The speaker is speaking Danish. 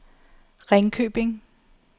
Ringkøbing